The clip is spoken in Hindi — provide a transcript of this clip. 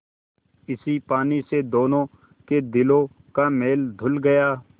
इस पानी से दोनों के दिलों का मैल धुल गया